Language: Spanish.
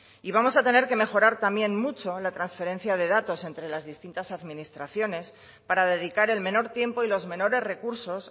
y vamos a tener que mejorar también mucho la transferencia de datos entre las distintas administraciones para dedicar el menor tiempo y los menores recursos